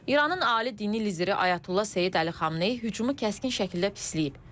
İranın ali dini lideri Ayətullah Seyid Əli Xameneyi hücumu kəskin şəkildə pisləyib.